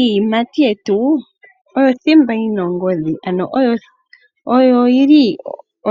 Iiyimati yetu oyo thimba yi na ongodhi, ano oyo yi li